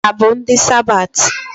Ha bụ ndị Sabathi?